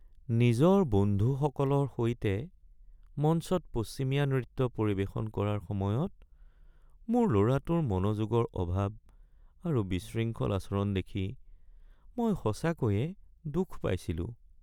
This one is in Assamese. নিজৰ বন্ধুসকলৰ সৈতে মঞ্চত পশ্চিমীয়া নৃত্য পৰিৱেশন কৰাৰ সময়ত মোৰ ল’ৰাটোৰ মনোযোগৰ অভাৱ আৰু বিশৃংখল আচৰণ দেখি মই সঁচাকৈয়ে দুখ পাইছিলোঁ।